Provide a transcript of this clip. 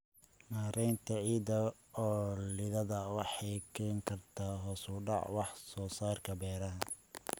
Maaraynta ciidda oo liidata waxay keeni kartaa hoos u dhaca wax soo saarka beeraha.